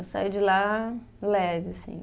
Eu saio de lá leve, assim